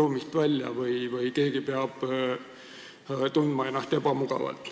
ruumist välja või tundma ennast ebamugavalt.